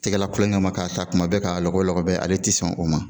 Tɛgɛla kulɔŋɛ ma k'a ta kuma bɛɛ k'a lɔkɔlɔkɔbɛ ale ti sɔn o ma.